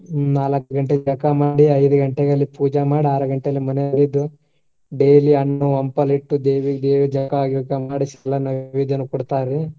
ನಾಲಕ್ಕ್ ಗಂಟೆಗ್ ಜಳಕಾ ಮಾಡಿ, ಐದ್ ಗಂಟೆಗ್ ಅಲ್ಲಿ ಪೂಜಾ ಮಾಡಿ, ಆರ್ ಗಂಟೆಗ್ ಮನಿಯೊಳಗ ಇದ್ದು daily ಹಣ್ಣು, ಹಂಪಲು ಇಟ್ಟು ದೇವಿಗೆ, ಜಳಕಾ ಗಿಳಕಾ ಮಾಡಿಸಿ ಎಲ್ಲಾ ನೈವೇದ್ಯ ಕೊಡ್ತಾರೀ.